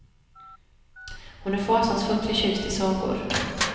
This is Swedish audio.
Hon är fasansfullt förtjust i sagor.